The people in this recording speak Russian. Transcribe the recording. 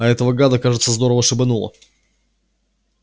а этого гада кажется здорово шибануло